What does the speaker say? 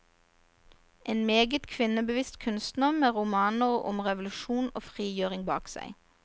En meget kvinnebevisst kunstner med romaner om revolusjon og frigjøring bak seg.